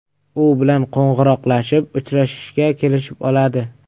U bilan qo‘ng‘iroqlashib, uchrashishga kelishib oladi.